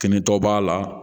Kɛnɛtɔ b'a la